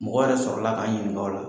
Mɔgɔ yɛrɛ sɔrɔla ka n ɲininka o la.